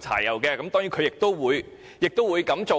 柴油便宜，他當然會改用電動車。